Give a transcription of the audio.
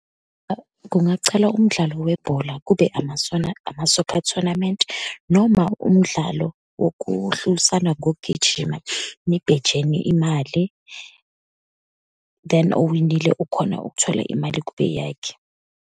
Kungacala umdlalo webhola, kube ama-sauna, ama-soccer tournament, noma umdlalo wokuhlulisana ngokugijima, nibhejeni imali, then owinile ukhona ukuthola imali kube eyakhe.